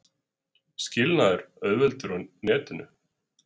Skilnaður auðveldur á netinu